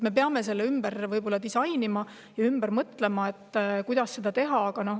Me peame selle ümber disainima ja mõtlema, kuidas seda teha.